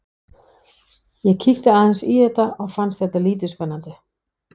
Ég kíkti aðeins í þetta en fannst það lítið spennandi.